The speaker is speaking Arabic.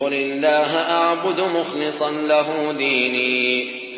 قُلِ اللَّهَ أَعْبُدُ مُخْلِصًا لَّهُ دِينِي